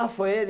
Ah, foi ele?